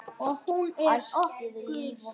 Ætíð líf og fjör.